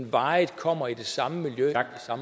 varigt kommer i det samme miljø